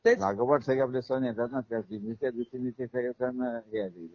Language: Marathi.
लागोपाठ सगळे आपले सण येतात ना, मी त्या ते सगळे दिवशी सण हे आले